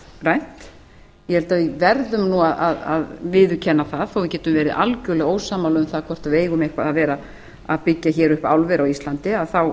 er hnattrænt ég held að við verðum að viðurkenna það þó við getum verið algerlega ósammála um að hvort við eigum að vera að byggja upp álver á íslandi þá